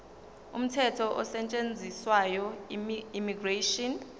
umthetho osetshenziswayo immigration